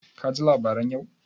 Ka ji labaran yau?